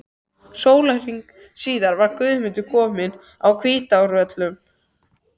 Sólarhring síðar var Guðmundur kominn að Hvítárvöllum.